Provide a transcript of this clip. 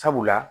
Sabula